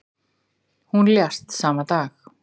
Hún lést sama dag.